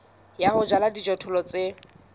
ya ho jala dijothollo tse